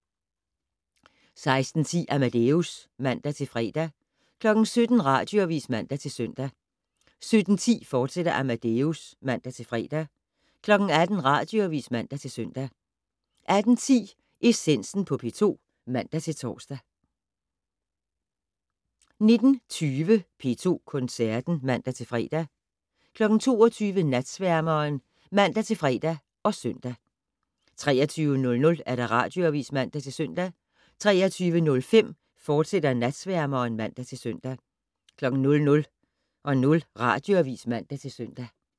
16:10: Amadeus (man-fre) 17:00: Radioavis (man-søn) 17:10: Amadeus, fortsat (man-fre) 18:00: Radioavis (man-søn) 18:10: Essensen på P2 (man-tor) 19:20: P2 Koncerten (man-fre) 22:00: Natsværmeren (man-fre og søn) 23:00: Radioavis (man-søn) 23:05: Natsværmeren, fortsat (man-søn) 00:00: Radioavis (man-søn)